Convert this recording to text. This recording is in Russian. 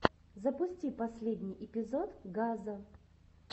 запусти последний эпизод газа